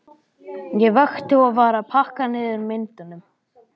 Ég vakti og var að pakka niður myndunum.